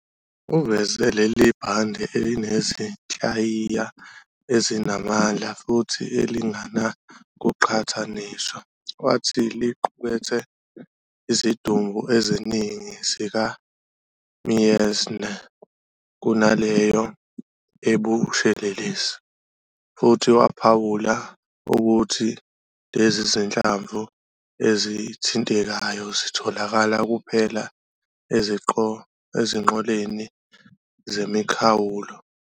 Uveze leli bhande elinezinhlayiya ezinamandla futhi elingenakuqhathaniswa, wathi "liqukethe izidumbu eziningi zikaMeissner kunaleyo ebushelelezi", futhi waphawula ukuthi lezi zinhlamvu ezithintekayo zitholakala kuphela ezinqoleni zemikhawulo.